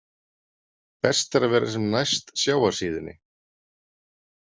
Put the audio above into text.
Best er að vera sem næst sjávarsíðunni.